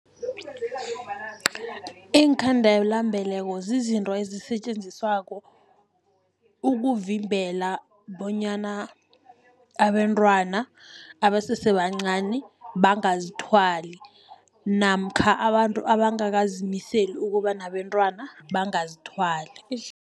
Iinkhandela-mbeleko zizinto ezisetjenziswako ukuvimbela, bonyana abentwana abasese bancani bangazithwali, namkha abantu abangakazimiseli ukuba nabentwana bangazithwali.